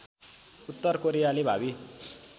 उत्तर कोरियाली भावी